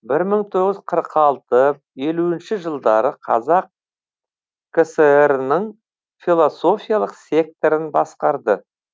бір мың тоғыз жүз қырық алты елуінші жылдары қазақ кср ның философиялық секторын басқарды